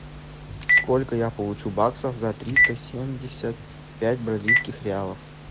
сколько я получу баксов за триста семьдесят пять бразильских реалов